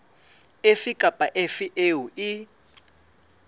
efe kapa efe eo e